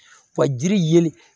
Wa jiri yeli